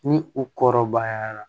Ni u kɔrɔbayara